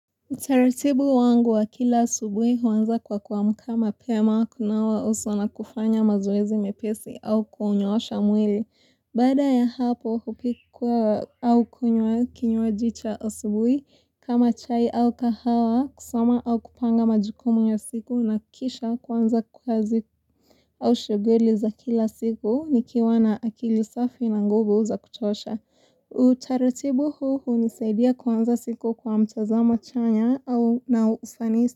Utaratibu wangu wa kila asubuhi huanza kwa kuamka mapema, kunawa uso na kufanya mazoezi mepesi au kunyoosha mwili. Baada ya hapo hupika au kunywa kinywaji cha asubuhi kama chai au kahawa, kusoma au kupanga majukumu ya siku na kisha kuanza kazi au shughuli za kila siku nikiwa na akili safi na nguvu za kutosha. Utararibu huu hunisaidia kuanza siku kwa mtazamo chanya au na ufanisi.